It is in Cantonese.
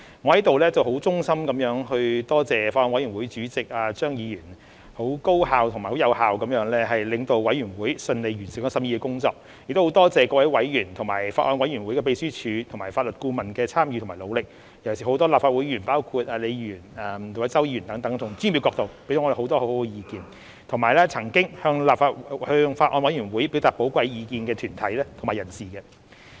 我在此衷心感謝法案委員會主席張議員，很高效和有效地領導法案委員會順利完成審議的工作，亦感謝各位委員及法案委員會秘書和法律顧問的參與和努力，尤其是很多立法會議員，包括李議員和周議員等，從專業的角度給予我們很多很好的意見，以及曾經向法案委員會表達寶貴意見的團體及人士。